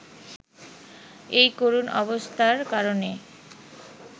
এই করুণ অবস্থার কারণে